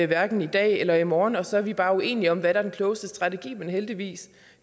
hverken i dag eller i morgen og så er vi bare uenige om hvad der er den klogeste strategi men heldigvis